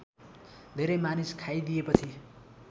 धेरै मानिस खाइदिएपछि